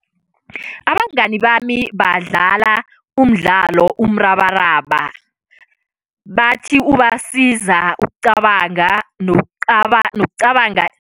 Abangani bami badlala umdlalo, umrabaraba. Bathi ubasiza ukucabanga nokucabanga.